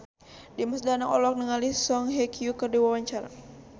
Dimas Danang olohok ningali Song Hye Kyo keur diwawancara